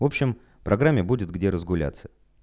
в общем программе будет где разгуляться